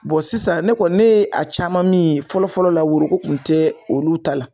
sisan ne kɔni ne ye a caman min ye fɔlɔfɔlɔ la ne woroko kun tɛ olu ta la.